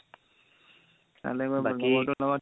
তালে গৈ মোৰ লগৰটোৰ লগত